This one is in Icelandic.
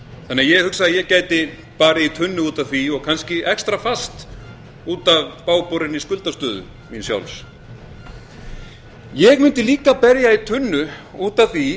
að ég hugsa að ég gæti barið í tunnu út af því og kannski extrafast út af bágborinni skuldastöðu míns sjálfs ég mundi líka berja í tunnu út af því